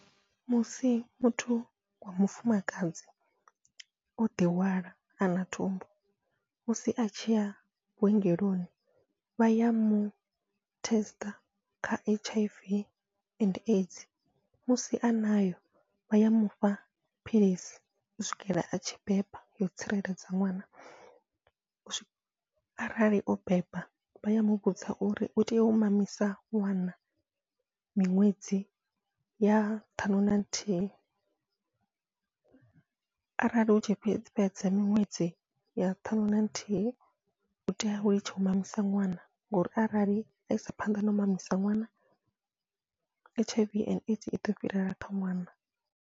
Musi muthu wa mufumakadzi oḓi hwala ana thumbu, musi atshi ya vhuongeloni vha ya mu test kha H_I_V and AIDS musi a nayo vha ya mufha philisi u swikela atshi beba yo tsireledza ṅwana, arali o beba vha ya muvhudza uri utea u mamisa ṅwana miṅwedzi ya ṱhanu na nthihi arali hutshi fhedza fhedza miṅwedzi ya ṱhaṅwe naluthihi utea u litsha u mamisa ṅwana ngori arali aisa phanḓa nau mamisa ṅwana H_I_V and AIDS iḓo fhirela kha ṅwana.